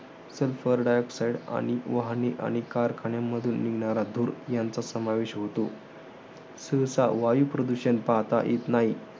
Sulfur dioxide आणि वाहने आणि कारखान्यांमधून निघणारा धूर यांचा समावेश होतो. सहसा वायुप्रदूषण पाहता येत नाही.